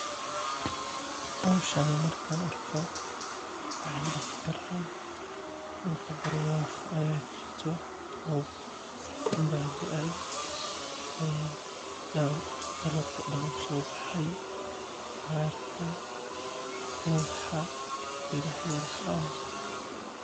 Howshan markaan arko waxaan dihi karaa dulka barwaaqo ayaa jirto roob ayaa daay cagaar ayaa soo baxay geedaha waxaas dan waay soo baxeen.